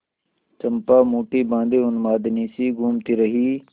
चंपा मुठ्ठी बाँधे उन्मादिनीसी घूमती रही